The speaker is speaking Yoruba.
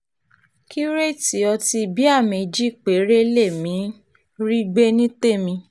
kírétèètì ọtí bíà méjì péré lèmi um rí gbé ní tèmi